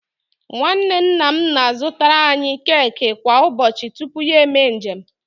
Nwanne nna m na-azụtaara anyị keki kwa ụbọchị tupu ya eme njem